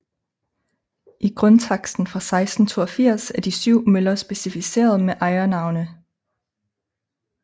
I grundtaksten fra 1682 er de syv møller specificeret med ejernavne